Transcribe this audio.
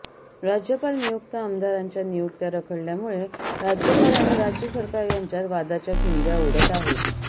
राज्यपाल नियुक्त आमदारांच्या नियुक्त्या रखडल्यामुळे राज्यपाल आणि राज्य सरकार यांच्यात वादाच्या ठिणग्या उडत आहेत